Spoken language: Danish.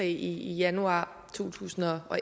i januar to tusind og